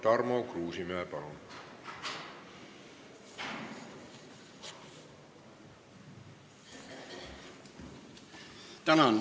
Tarmo Kruusimäe, palun!